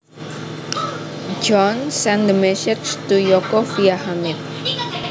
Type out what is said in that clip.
John sent the message to Yoko via Hamid